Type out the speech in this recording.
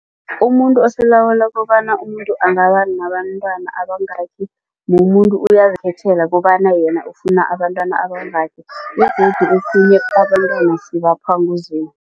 Umuntu osilawula kobana umuntu angaba nabantwana abangaki. Mumuntu uyazikhethela kobana yena ufuna ukuba nabantwana abayingaki begodu okhunye abantwana sibaphiwa nguZimu.